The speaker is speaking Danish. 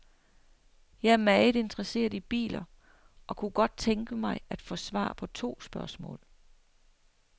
Jeg er meget interesseret i biler, og kunne godt tænke mig at få svar på to spørgsmål.